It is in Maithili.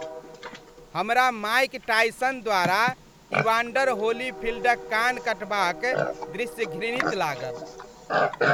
हमरा माइक टायसन द्वारा इवांडर होलीफ़ील्डक कान काटबाक दृश्य घृणित लागल।